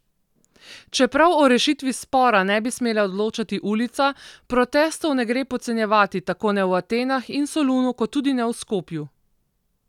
Čeprav o rešitvi spora ne bi smela odločati ulica, protestov ne gre podcenjevati, tako ne v Atenah in Solunu kot tudi ne v Skopju.